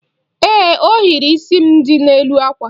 Ee, ohiri isi m dị n'elu àkwà.